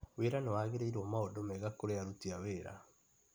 Wĩra nĩ wagĩrĩirwo maũndũ mega kũrĩ aruti a wĩra.